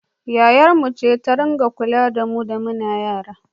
Yayarmu ce ta dinga kula da mu da muke yara